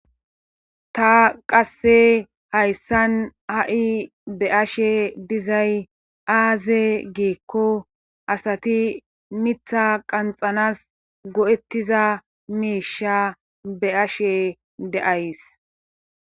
Ta qasse hayssan ha7i be'ashe dizay aaze geekko asati mitha qanxanas go7ettiza miisha be'ashe de'ays